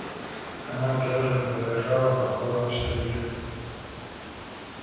она тоже выражала покорность людям